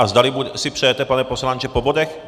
A zdali si přejete, pane poslanče, po bodech?